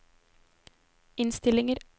innstillinger